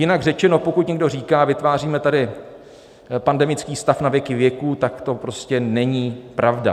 Jinak řečeno, pokud někdo říká, vytváříme tady pandemický stav na věky věků, tak to prostě není pravda.